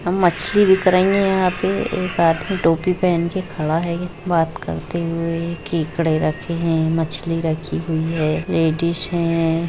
मछली बीक रही है यहां पे एक आदमी टोपी पहन के खड़ा है बात करते हुए केकड़ा रखे है मछली रखी हुई है। यह डिश है